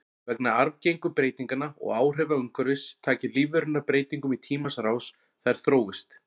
Vegna arfgengu breytinganna og áhrifa umhverfis taki lífverurnar breytingum í tímans rás, þær þróist.